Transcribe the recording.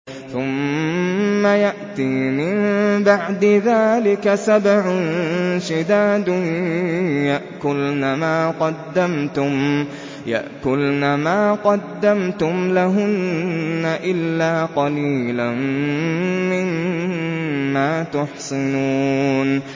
ثُمَّ يَأْتِي مِن بَعْدِ ذَٰلِكَ سَبْعٌ شِدَادٌ يَأْكُلْنَ مَا قَدَّمْتُمْ لَهُنَّ إِلَّا قَلِيلًا مِّمَّا تُحْصِنُونَ